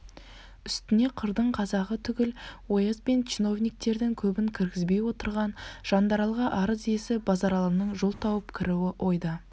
үстіне қырдың қазағы түгіл ояз бен чиновниктердің көбін кіргізбей отырған жандаралға арыз иесі базаралының жол тауып кіруі ойда